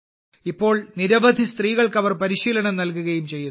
ഇപ്പോൾ നിരവധി സ്ത്രീകൾക്ക് അവർ പരിശീലനം നൽകുകയും ചെയ്യുന്നു